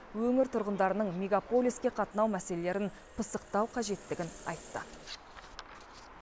өңір тұрғындарының мегаполиске қатынау мәселелерін пысықтау қажеттігін айтты